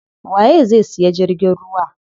Waye zai siya jirgin ruwa?